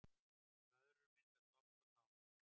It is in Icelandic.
Blöðrur myndast oft á tánum